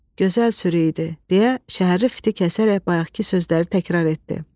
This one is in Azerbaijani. Gözəl sürü idi, deyə şəhərli fiti kəsərək bayaqkı sözləri təkrar etdi.